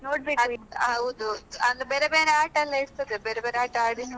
ನೋಡ್ಬೇಕು